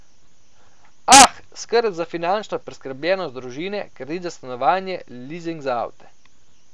Ah, skrb za finančno preskrbljenost družine, kredit za stanovanje, lizing za avte.